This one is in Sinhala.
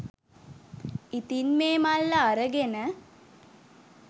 ඉතින් මේ මල්ල අරගෙන